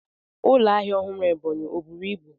Ụlọ ahịa ọhụrụ Ebonyi ọ buru ibu?